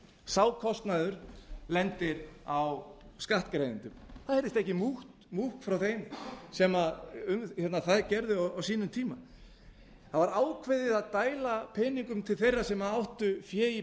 sá kostnaður lendir á skattgreiðendum það heyrist ekki múkk í þeim sem það gerðu á sínum tíma það var ákveðið að dæla peningum til þeirra sem áttu fé í